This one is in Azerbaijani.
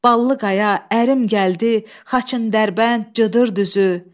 Ballı qaya, ərim gəldi, Xaçındərbənd, cıdır düzü.